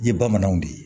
I ye bamananw de ye